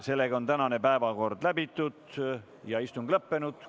Sellega on tänane päevakord läbitud ja istung lõppenud.